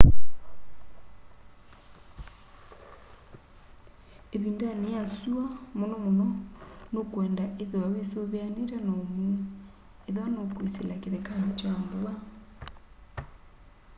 ĩvindanĩ ya syũa mũno mũno nũkwenda ithiwa wĩsuvianiite na ũmuu ethĩwa nũkwĩsĩla kĩthekanĩ kya mbua